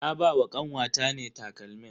Na ba wa kanwata ne takalmin.